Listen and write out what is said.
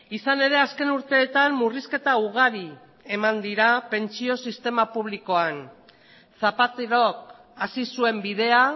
izan ere azken urteetan murrizketa ugari eman dira pentsio sistema publikoan zapaterok hasi zuen bidea